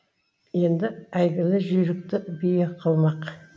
енді әйгілі жүйрікті бие қылмақ